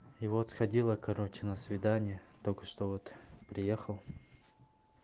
и вот сходил я короче на свидание только что вот приехал